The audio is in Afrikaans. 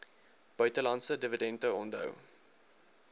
buitelandse dividende onthou